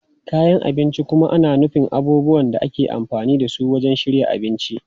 Kayan abinci kuma na nufin abubuwan da ake amfani da su wajen shirya abinci.